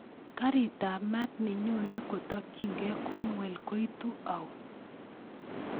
Karitab maat nenyonen kotokyinge cornwall koitu au